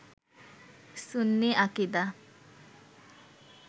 সুন্নি আকিদা